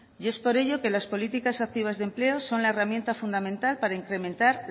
y es por ello que las políticas activas de empleo son la herramienta fundamental para incrementar